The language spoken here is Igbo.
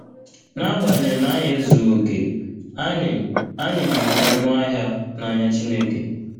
N’agbanyeghị na anyị ezughị okè, anyị, anyị dị oké ọnụ ahịa n’anya Chineke.